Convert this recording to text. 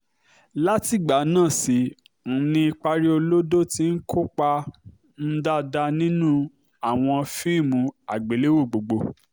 látìgbà náà sì um ni pariolodo ti ń kópa um dáadáa nínú àwọn fíìmù àgbéléwò gbogbo